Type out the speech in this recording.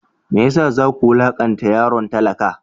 Me ya sa za ku wulakanta yaron talaka?